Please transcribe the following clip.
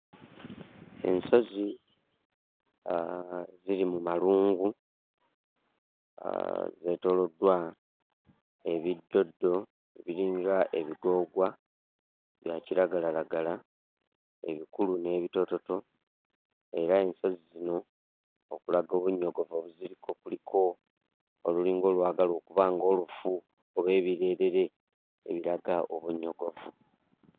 Ensozi ah ziri mu malungu ah zeetooloddwa ebiddoddo ebiringa ebigoogwa, bya kiragalalagala, ebikulu n'ebitoototo era ensozi zino okulaga obunnyogovu obuziriko kuliko olulinga olwagala okuba ng'olufu oba ebireerere ebiraga obunnyogovu.